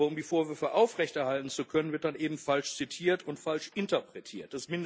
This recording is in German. Aber um die Vorwürfe aufrechterhalten zu können, wird dann eben falsch zitiert und falsch interpretiert.